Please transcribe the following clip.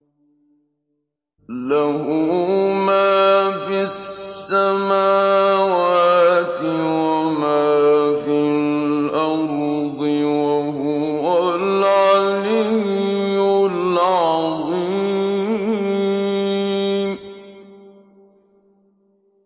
لَهُ مَا فِي السَّمَاوَاتِ وَمَا فِي الْأَرْضِ ۖ وَهُوَ الْعَلِيُّ الْعَظِيمُ